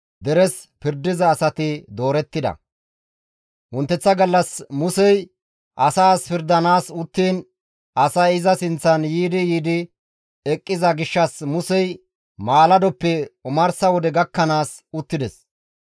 Wonteththa gallas Musey asaas pirdanaas uttiin asay iza sinththan yiidi yiidi eqqiza gishshas Musey maaladoppe omarsa wode gakkanaas uttides.